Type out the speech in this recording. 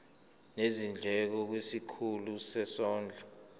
nezindleko kwisikhulu sezondlo